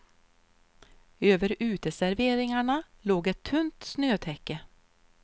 Över uteserveringarna låg ett tunt snötäcke.